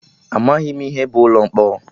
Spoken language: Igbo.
Amaghị m ihe bụ ụlọ mkpọrọ